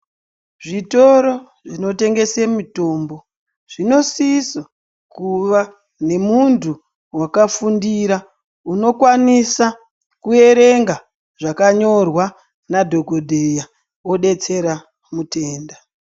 Zvitoro zvinotengesa mitombo zvinosisa kuva nemunhtu wakafundira unokwanisa kuerenga zvakanykrws nadhokodheya odetsera mutenda